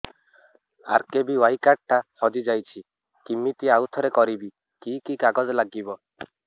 RKBY card ଟା ହଜିଯାଇଛି କିମିତି ଆଉଥରେ କରିବି କି କି କାଗଜ ଲାଗିବ